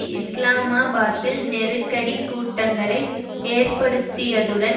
இஸ்லாமாபாத்தில் நெருக்கடி கூட்டங்களை ஏற்படுத்தியதுடன்